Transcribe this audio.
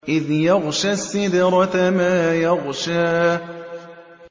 إِذْ يَغْشَى السِّدْرَةَ مَا يَغْشَىٰ